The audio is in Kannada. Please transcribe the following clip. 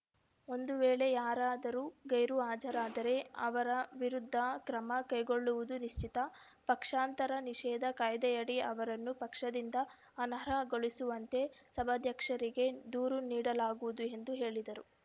ಒಂದು ವೇಳೆ ಯಾರಾದರೂ ಗೈರು ಹಾಜರಾದರೆ ಅವರ ವಿರುದ್ಧ ಕ್ರಮ ಕೈಗೊಳ್ಳುವುದು ನಿಶ್ಚಿತ ಪಕ್ಷಾಂತರ ನಿಷೇಧ ಕಾಯ್ದೆಯಡಿ ಅವರನ್ನು ಪಕ್ಷದಿಂದ ಅನರ್ಹಗೊಳಿಸುವಂತೆ ಸಭಾಧ್ಯಕ್ಷರಿಗೆ ದೂರು ನೀಡಲಾಗುವುದು ಎಂದು ಹೇಳಿದರು